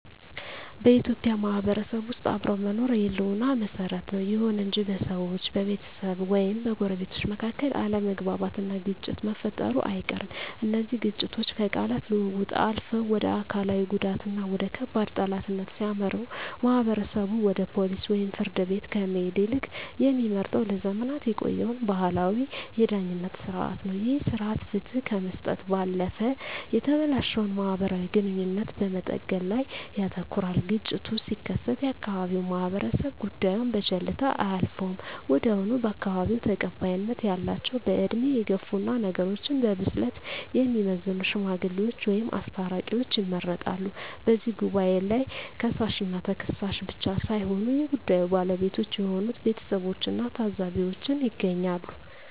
በኢትዮጵያ ማህበረሰብ ውስጥ አብሮ መኖር የህልውና መሰረት ነው። ይሁን እንጂ በሰዎች፣ በቤተሰብ ወይም በጎረቤቶች መካከል አለመግባባትና ግጭት መፈጠሩ አይቀርም። እነዚህ ግጭቶች ከቃላት ልውውጥ አልፈው ወደ አካላዊ ጉዳትና ወደ ከባድ ጠላትነት ሲያመሩ፣ ማህበረሰቡ ወደ ፖሊስ ወይም ፍርድ ቤት ከመሄድ ይልቅ የሚመርጠው ለዘመናት የቆየውን ባህላዊ የዳኝነት ሥርዓት ነው። ይህ ሥርዓት ፍትህ ከመስጠት ባለፈ የተበላሸውን ማህበራዊ ግንኙነት በመጠገን ላይ ያተኩራል። ግጭቱ ሲከሰት የአካባቢው ማህበረሰብ ጉዳዩን በቸልታ አያልፈውም። ወዲያውኑ በአካባቢው ተቀባይነት ያላቸው፣ በዕድሜ የገፉና ነገሮችን በብስለት የሚመዝኑ "ሽማግሌዎች" ወይም "አስታራቂዎች" ይመረጣሉ። በዚህ ጉባኤ ላይ ከሳሽና ተከሳሽ ብቻ ሳይሆኑ የጉዳዩ ባለቤቶች የሆኑት ቤተሰቦችና ታዘቢዎችም ይገኛሉ።